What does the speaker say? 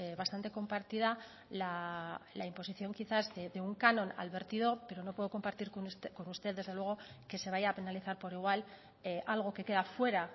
bastante compartida la imposición quizás de un canon al vertido pero no puedo compartir con usted desde luego que se vaya a penalizar por igual algo que queda fuera